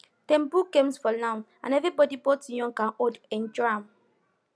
dem put games for lawn and everybody both young and old enjoy am